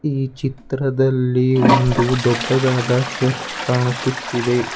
ಈ ಚಿತ್ರದಲ್ಲಿ ಒಂದು ದೊಡ್ಡದಾದ ಚರ್ಚ್ ಕಾಣಿಸುತ್ತಿದೆ.